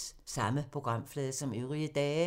Samme programflade som øvrige dage